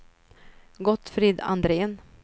Gottfrid Andrén